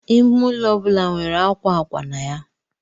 Ime ụlọ ọ bụla nwere akwa akwa na ya.